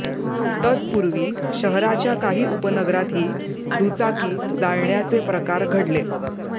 तत्पूर्वी शहराच्या काही उपनगरातही दुचाकी जाळण्याचे प्रकार घडले